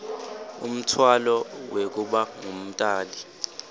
umtfwalo wekuba ngumtali